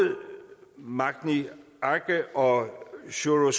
magni arge og sjúrður